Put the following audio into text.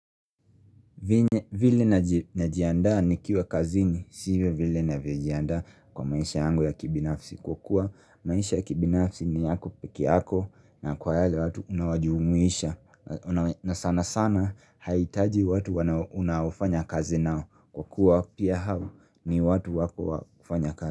Vile najiandaa nikiwa kazini si vile ninavyojiandaa kwa maisha yangu ya kibinafsi kwa kuwa maisha ya kibinafsi ni yako pekee yako na kwa wale watu unaowajumuisha na sana sana haitaji watu unaofanya kazi nao kwa kuwa pia hao ni watu wako wa kufanya kazi.